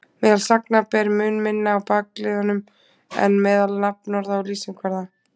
Meðal sagna ber mun minna á bakliðum en meðal nafnorða og lýsingarorða.